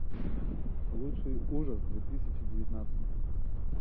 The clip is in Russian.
лучший ужас две тысячи девятнадцать